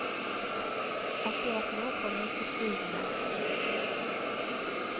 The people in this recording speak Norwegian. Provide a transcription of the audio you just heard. Akkurat nå kan jeg ikke skrive mer.